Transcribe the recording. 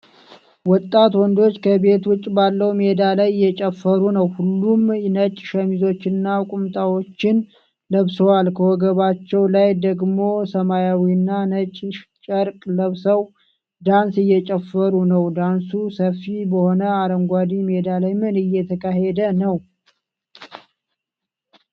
ወጣት ወንዶች ከቤት ውጭ ባለው ሜዳ ላይ እየጨፈሩ ነው። ሁሉም ነጭ ሸሚዞችንና ቁምጣዎችን ለብሰዋል። ከወገባቸው ላይ ደግሞ ሰማያዊና ነጭ ጨርቅ ለብሰው ዳንስ እየጨፈሩ ነው። ዳንሱ ሰፊ በሆነ አረንጓዴ ሜዳ ላይ ምን እየተካሄደ ነው?